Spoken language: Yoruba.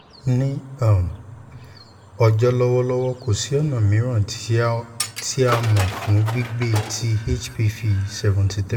ni um ọjọ lọwọlọwọ ko si ọna miiran ti a mọ fun gbigbe ti hpv seventy three